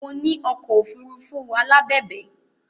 Mo ní ọkọ̀ òfuurufú alábẹ̀bẹ̀